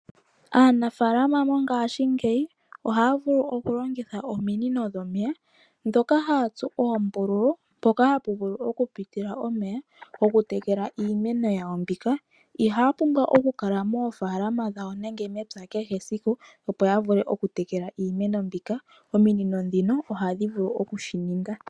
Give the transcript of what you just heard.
Aanafalama mongashingeyi ohaya vulu okulongitha ominino dhomeya dhoka haya tsu oombululu mpoka hapu vulu okupitila omeya opo ya vule oketekela iimeno yawo. Ihaya pumbwa okukala moofalama dhawo nenge mepya kehe esiku opo ya vule okutekela iimeno yawo, ihe ominino dhika otadhi vulu oku shi ninga.